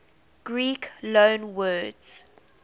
greek loanwords